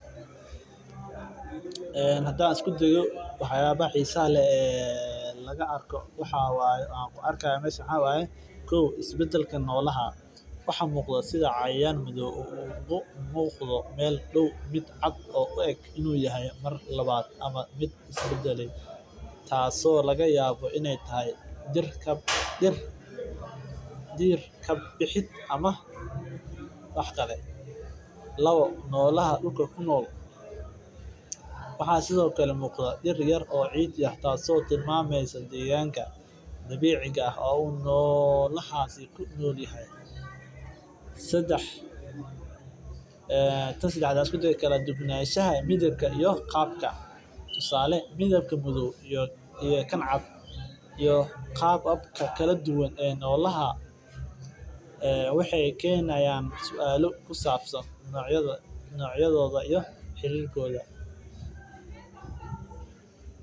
Hadaan isku dayo wax yaabaha xiisaha leh aan ku arki haayo meeshan wax cad oo is badake laga yaaba inaay tahay dir kabixid oo muuqada dir yar oo madoow sedex dubnashaha midibka iyo qaabka sida midka madoow iyo kan cad xariirkooda.